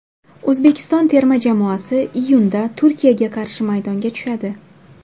O‘zbekiston terma jamoasi iyunda Turkiyaga qarshi maydonga tushadi.